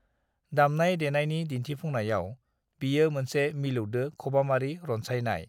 "दामनाय-देनायनि दिन्थिफुंनायाव, बियो मोनसे मिलौदो खबामारि रनसायनाय।"